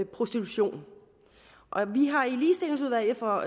prostitution vi har i ligestillingsudvalget for